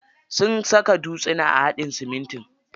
Sun saka dutsuna a haɗin siminti.